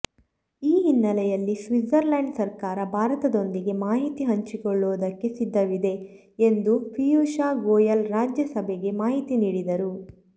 ಈ ಹಿನ್ನೆಲೆಯಲ್ಲಿ ಸ್ವಿಟ್ಜರ್ಲ್ಯಾಂಡ್ ಸರ್ಕಾರ ಭಾರತದೊಂದಿಗೆ ಮಾಹಿತಿ ಹಂಚಿಕೊಳ್ಳುವುದಕ್ಕೆ ಸಿದ್ಧವಿದೆ ಎಂದು ಪೀಯೂಷ್ ಗೋಯಲ್ ರಾಜ್ಯ ಸಭೆಗೆ ಮಾಹಿತಿ ನೀಡಿದರು